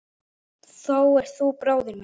Þú ert þá bróðir minn.